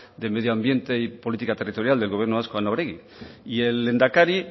de medio ambiente y política territorial del gobierno vasco ana oregi y el lehendakari